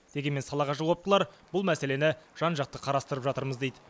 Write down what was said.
дегенмен салаға жауаптылар бұл мәселені жан жақты қарастырып жатырмыз дейді